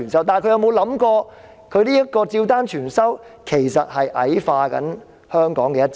但是，她有否想過，她照單全收其實是在矮化香港的"一制"？